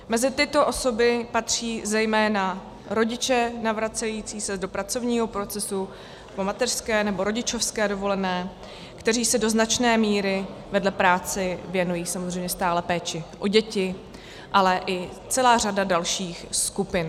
Mezi tyto osoby patří zejména rodiče navracející se do pracovního procesu po mateřské nebo rodičovské dovolené, kteří se do značné míry vedle práce věnují samozřejmě stále péči o děti, ale i celá řada dalších skupin.